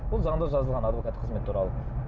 бұл заңда жазылған адвокат қызметі туралы